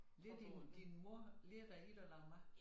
Lærte din mor lærte dig i at lave mad